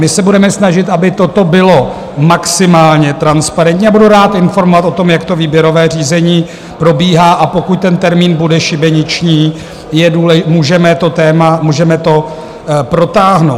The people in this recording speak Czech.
My se budeme snažit, aby toto bylo maximálně transparentní, a budu rád informovat o tom, jak to výběrové řízení probíhá, a pokud ten termín bude šibeniční, můžeme to téma, můžeme to protáhnout.